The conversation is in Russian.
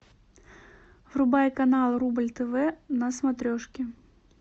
врубай канал рубль тв на смотрешке